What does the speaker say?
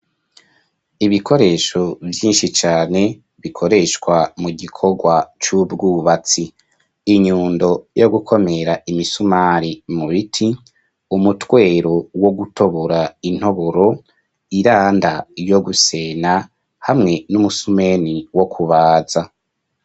Ibikoresho vyinshi cane bikoreshwa mu gikogwa c'ubwubatsi inyundo yo gukomera imisumari mu biti umutwero wo gutobora intoboro iranda yo gusena hamwe n'umusumeni wo kubaza.